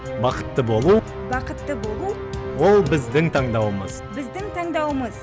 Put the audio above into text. бақытты болу бақытты болу ол біздің таңдауымыз біздің таңдауымыз